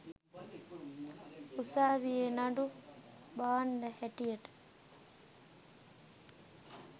උසාවියේ නඩු භාණ්‌ඩ හැටියට